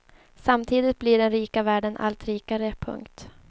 Samtidigt blir den rika världen allt rikare. punkt